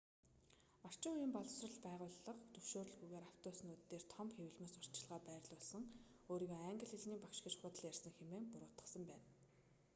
орчин үеийн боловсрол байгууллага зөвшөөрөлгүйгээр автобуснууд дээр том хэвлэмэл сурталчилгаа байрлуулсан өөрийгөө англи хэлний багш гэж худал ярьсан хэмээн буруутгасан байна